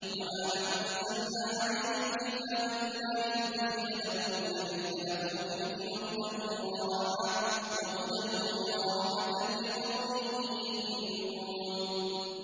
وَمَا أَنزَلْنَا عَلَيْكَ الْكِتَابَ إِلَّا لِتُبَيِّنَ لَهُمُ الَّذِي اخْتَلَفُوا فِيهِ ۙ وَهُدًى وَرَحْمَةً لِّقَوْمٍ يُؤْمِنُونَ